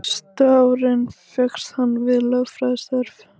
Næstu árin fékkst hann við lögfræðistörf.